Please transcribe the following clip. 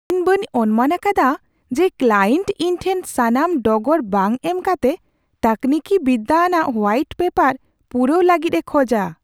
ᱤᱧ ᱵᱟᱹᱧ ᱚᱱᱢᱟᱱ ᱟᱠᱟᱫᱟ ᱡᱮ ᱠᱞᱟᱭᱮᱱᱴ ᱤᱧ ᱴᱷᱮᱱ ᱥᱟᱱᱟᱢ ᱰᱚᱜᱚᱨ ᱵᱟᱝ ᱮᱢ ᱠᱟᱛᱮ ᱛᱟᱹᱠᱱᱤᱠᱤ ᱵᱤᱨᱫᱟᱹ ᱟᱱᱟᱜ ᱦᱳᱣᱟᱭᱤᱴ ᱯᱮᱯᱟᱨ ᱯᱩᱨᱟᱹᱣ ᱞᱟᱹᱜᱤᱫ ᱮ ᱠᱷᱚᱡᱟ ᱾